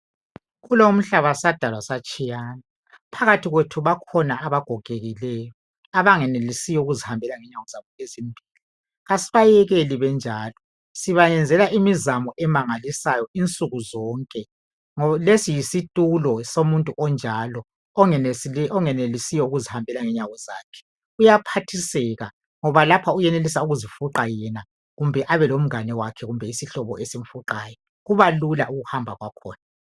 Kulomhlaba sadalwa satshiyana. Phakathi kwethu bakhona abagokekileyo abengelisi ukuzihambela ngenyawo zabo ezimbili. Asibayekeli benjalo. Siyabenzela imizamo emangalisayo insuku zonke. Lesi yisitulo somuntu onjalo. Ongenelisiyo ukuzihambela ngenyawo zakhe. Uyaphathiseka ngoba lapha uyenelisa ukuzifuqa yena kumbe abelomngane wakhe kumbe isihlobo isimfuqayo kubalula ukuhamba kwakhona.